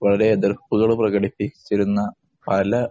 വളരെ എതിര്‍പ്പുകള്‍ പ്രകടിപ്പിച്ചിരുന്ന പല